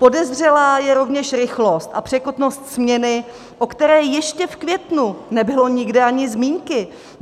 Podezřelá je rovněž rychlost a překotnost směny, o které ještě v květnu nebylo nikde ani zmínky.